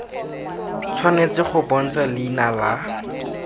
tshwanetse go bontsha leina la